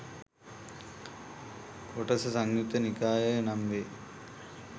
කොටස සංයුත්ත නිකාය නම් වේ.